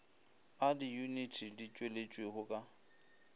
a diyuniti di tšweleditšwego ka